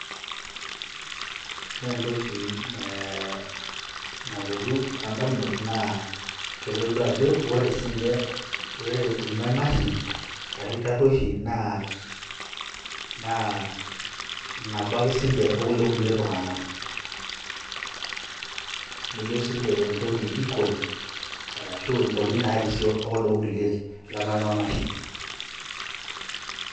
ore entoki e naolotu tondamunot naa kitodolu ajo ore irmamaishi ashuaa iltaruoshi naa naba ake sinche okuldo kulie tunganak neyieu sinche entoki equal rashu intokiti narisio okuldo kulie lemermarmashi